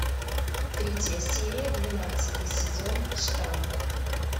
третья серия двенадцатый сезон штамм